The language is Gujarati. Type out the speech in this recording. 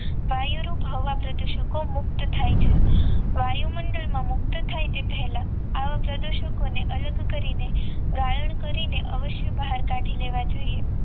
વાયુ રૂપ હવા પ્રદુષકો મુક્ત થાય છે વાયુમંડળમાં મુક્ત થાય તે પહેલા આવા પ્રદુષકોને અલગ કરીને ગારણ કરીને અવશ્ય બહાર કાઢી લેવા જોઈએ